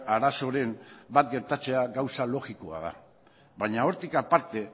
arazoren bat gertatzea gauza logikoa da baina hortik aparte